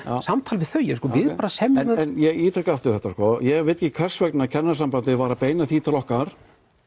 samtal við þau við bara semjum ég ítreka aftur þetta ég veit ekki hvers vegna Kennarasambandið var að beina því til okkar